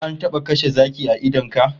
Ko an taba kashe zaki a idon ka?